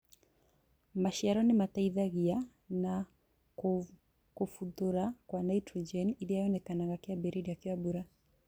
Maciaro nĩ mateithĩkaga na kumbuthũra Kwa naitrojeni iria yonekanaga kĩambĩrĩria kĩa mbura